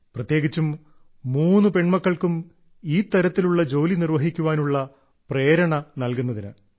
പ്രത്യേകിച്ചും മൂന്നു പെൺമക്കൾക്കും ഈ തരത്തിലുള്ള ജോലി നിർവ്വഹിക്കാനുള്ള പ്രേരണ നൽകുന്നതിന്